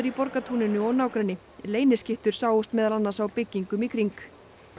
Borgartúninu og nágrenni leyniskyttur sáust meðal annars á byggingum í kring